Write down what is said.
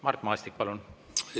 Mart Maastik, palun!